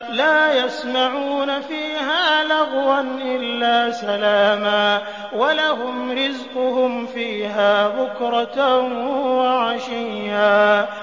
لَّا يَسْمَعُونَ فِيهَا لَغْوًا إِلَّا سَلَامًا ۖ وَلَهُمْ رِزْقُهُمْ فِيهَا بُكْرَةً وَعَشِيًّا